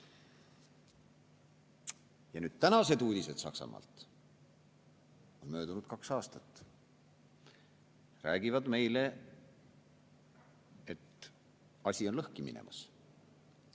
Ja nüüd, tänased uudised Saksamaalt – möödunud on kaks aastat – räägivad meile, et asi on lõhki minemas.